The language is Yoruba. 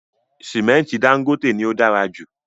Sìmẹ́ntì Dangote ni o dára jù